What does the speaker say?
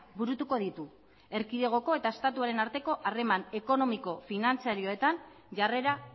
burutuko ditu erkidegoko eta estatuaren arteko harreman ekonomiko finantziarioetan jarrera